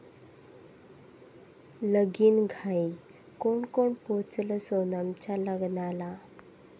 लगीनघाई! कोण कोण पोचलं सोनमच्या लग्नाला?